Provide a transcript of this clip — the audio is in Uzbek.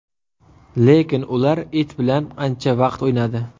Lekin ular it bilan ancha vaqt o‘ynadi.